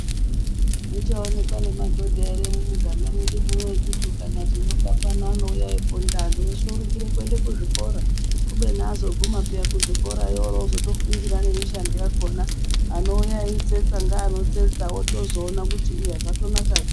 Zvichaonekwa nemadhodha here mumuganga nwedu mwunomu kuti ukati nyoka pano anouya eyiponda. Antu eshe orumbire kuende kuzvikora kubeni azoguma kuzvikora kwona iyoyo oro ofundira mishando yakhona anoiya eyitsetsa wozotoona kuti iya zvatonaka peya.